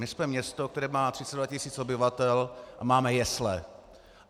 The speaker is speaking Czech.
My jsme město, které má 32 tisíc obyvatel, a máme jesle.